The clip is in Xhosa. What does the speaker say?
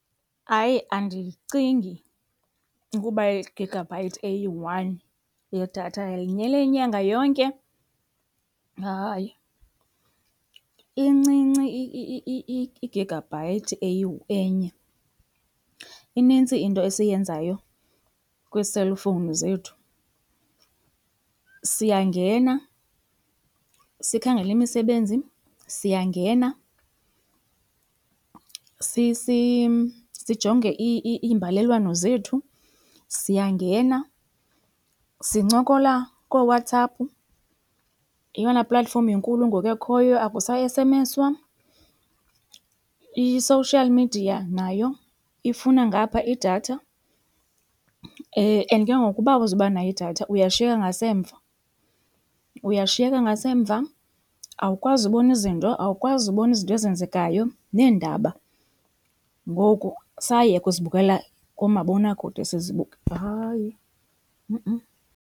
Hayi, andiyicingi ukuba i-gigabyte eyi-one yedatha yanele inyanga yonke. Hayi, incinci i-gigabyte enye. Inintsi into esiyenzayo kwii-cellphone zethu. Siyangena sikhangele imisebenzi, siyangena sijonge imbalelwano zethu, siyangena sincokola kooWhatsApp yeyona platform inkulu ngoku ekhoyo akusa-esemeswa. I-social media nayo ifuna ngapha idatha. And ke ngoku uba awuzuba nayo idatha uyashiyeka ngasemva, uyashiyeka ngasemva awukwazi ubona izinto, awukwazi ubona izinto ezenzekayo neendaba ngoku sayeka uzibukela koomabonakude , hayi .